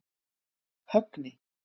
Högni